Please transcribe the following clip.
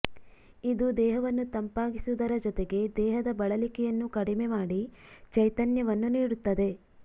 ಇದು ದೇಹವನ್ನು ತಂಪಾಗಿಸುವುದರ ಜೊತೆಗೆ ದೇಹದ ಬಳಲಿಕೆಯನ್ನು ಕಡಿಮೆ ಮಾಡಿ ಚೈತನ್ಯವನ್ನು ನೀಡುತ್ತದೆ